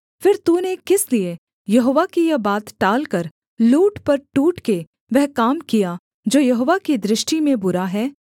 फिर तूने किस लिये यहोवा की यह बात टालकर लूट पर टूट के वह काम किया जो यहोवा की दृष्टि में बुरा है